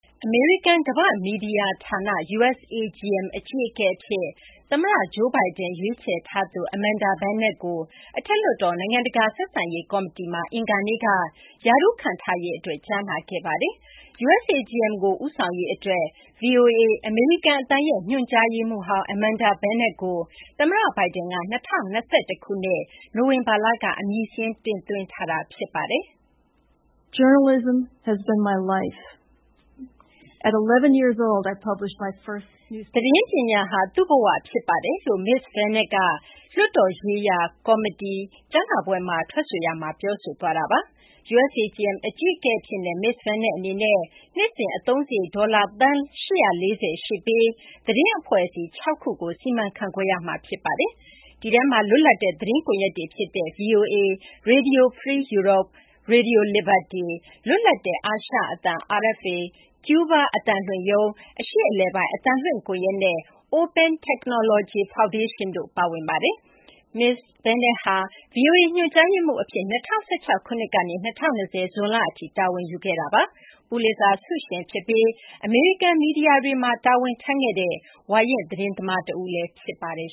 အမေရိကန် ကမ ္ဘာ့မီဒီယာ ဌာန USAGM အကြီးအကဲ အဖြစ် သမ္မတ Joe Biden ရွေးချယ်ထားသူ Amanda Bennett ကို အထက်လွှတ်တော် နိုင်ငံတကာ ဆက်ဆံရေး ကော်မတီမှာ အင်္ဂါနေ့က ရာထူးခန့်ထားရေးအတွက် ကြားနာခဲ့ပါတယ်။ USAGM ကို ဦးဆောင်ရေး အတွက် VOA - အမေရိကန် အသံရဲ့ ညွှန်ကြားရေးမှူးဟောင်း Amanda Bennett ကို သမ္မတ Biden က ၂၀၂၁ ခုနှစ် နိုဝင်ဘာလက အမည်စာရင်းတင်သွင်းထားတာပါ။ သတင်းပညာဟာ သူ့ဘ၀ ဖြစ်ပါတယ်လို့ မစ္စ Bennett က လွှတ်တော်ရေးရာ ကော်မတီ ကြားနာပွဲမှာ ထွက်ဆိုရာမှာ ပြောဆိုသွားတာပါ။ USAGM အကြီးအကဲအဖြစ်နဲ့ မစ္စ Bennett အနေနဲ့ နှစ်စဉ် အသုံးစာရိတ် ဒေါ်လာ သန်း ၈၄၀ ရှိပြီး သတင်းအဖွဲ့အစည်း ၆ ခုကို စီမံခန့်ခွဲရမှာ ဖြစ်ပါတယ်။ ဒီထဲမှာ လွတ်လပ်တဲ့ သတင်းကွန်ရက်တွေ ဖြစ်တဲ့ VOA၊ Radio Free Europe/Radio Liberty၊ လွတ်လပ်တဲ့ အာရှအသံ- RFA၊ ကျူးဘား အသံလွှင့်ရုံး၊ အရှေ့အလယ်ပိုင်း အသံလွှင့် ကွန်ရက်၊ နဲ့ Open Technology Foundation တို့ ပါဝင်ပါတယ်။ မစ္စ Bennett ဟာ VOA ညွှန်ကြားရေးမှူး အဖြစ် ၂၀၁၆ ခုနှစ်ကနေ ၂၀၂၀ ဇွန်လ အထိ တာဝန်ယူခဲ့တာပါ။ ပူလစ်ဇာ ဆုရှင် ဖြစ်ပြီး အမေရိကန် မီဒီယာတွေမှာ ဝါရင့် သတင်းသမား တဦးလည်း ဖြစ်ပါတယ်